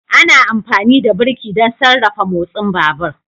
Ana amfani da birki don sarrafa motsin babur